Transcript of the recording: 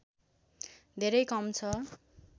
धेरै कम छ